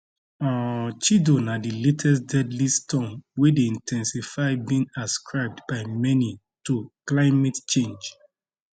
um chido na di latest deadly storm wey dey in ten sity being ascribed by many to climate change